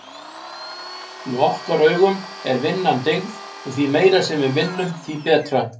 Í okkar augum er vinnan dyggð og því meira sem við vinnum, því betra.